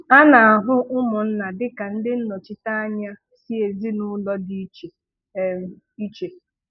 A na-ahụ ụmụnna dịka ndị nnọchite anya si ezinaụlọ dị iche um iche